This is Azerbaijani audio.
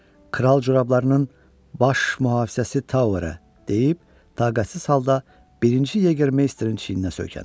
Kral corablarının baş mühafizəsi Towerə deyib taqətsiz halda birinci Yeger Meisterin çiyninə söykəndi.